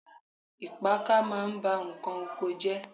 Ìpáàkà ma ń bá ǹkan oko jẹ́.